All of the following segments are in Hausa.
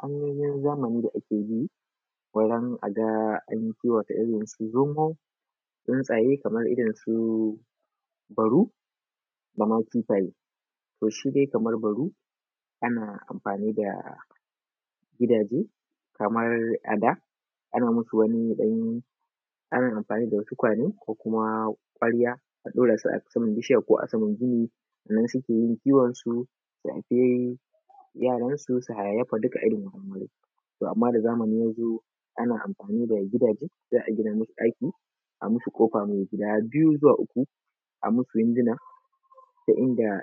Hanyoyin zamani da ake bi wajen a ga an kiwata irinsu zomo tsuntsaye kamar irin su baru dama kifaye .to shi kamar baru ana amfani da gidaje a da ana musu amfani da wasu tukwane kwarya a ɗaira su a saman bishiya ko a saman gini nan suke yin kiwon su su haife yara su hayayyafa. To amma da zamani ya zo za a gina masu gidaje a yi musu kofar mai guda biyu zuwa uku a yi musu wunduna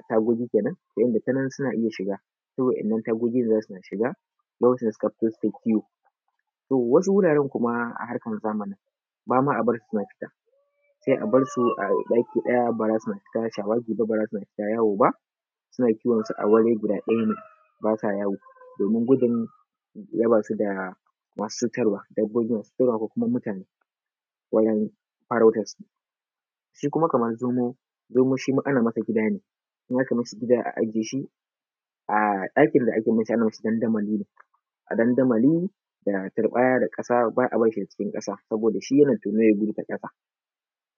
tagogi kenan ta yadda iska zai rika shiga ta wannan tagogi za su riƙa shiga idan suka fito kiwo. Wasu wuraren a harkar zamani ba ma a fita sai a bar su a ɗaki su yi shawagi ba za su fita ba su na kiwon su a ɗaki ba sa yawo domin gudun raba su da cutarwa ko kuma mutane masu farautar su. Shi kuma kamar zomo shi ma ana masa gida ne, idan aka yi masa gida ana ajiye shi a ɗakin da ake ajiye su ana musu dandamali ne da turɓaya ba a barci ya yi ƙasa saboda shi yana tono ya gudu ta kasa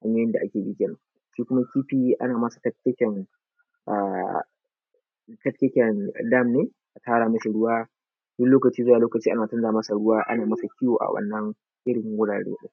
yanda ake yi kenan. Shi kuma kifi ana masa tafkeken dam ne a tara masa ruwa sai lokaci zuwa lokaci ana canza masa ruwa yana kiwo a wannan irin wurare ɗin